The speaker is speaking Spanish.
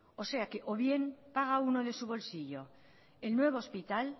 o sea o bien paga uno de su bolsillo el nuevo hospital